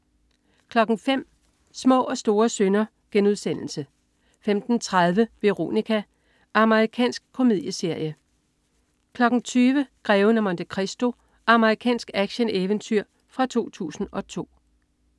05.00 Små og store synder* 15.30 Veronica. Amerikansk komedieserie 20.00 Greven af Monte Cristo. Amerikansk actioneventyr fra 2002